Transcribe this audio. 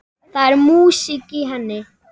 Það er músík í henni.